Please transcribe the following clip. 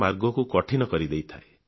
ମାର୍ଗକୁ କଠିନ କରିଦେଇଥାଏ